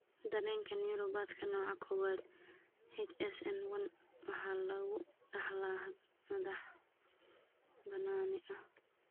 Dareemka neuropathyka nooca kowaad (HSN1) waxaa lagu dhaxlaa hab madax-bannaani ah.